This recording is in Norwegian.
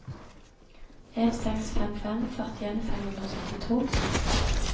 en seks fem fem førtien fem hundre og syttito